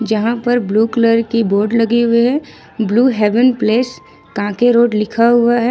जहां पर blue colour की बोर्ड लगे हुए है Blue Heaven Place Kanke Road लिखा हुआ है।